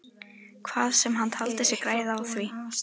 Hvað sem hann taldi sig græða á því.